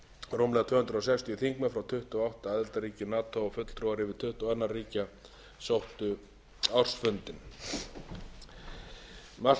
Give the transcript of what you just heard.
rúmlega tvö hundruð sextíu þingmenn frá tuttugu og átta aðildarríkjum nato og fulltrúar yfir tuttugu annarra ríkja sóttu ársfundinn margt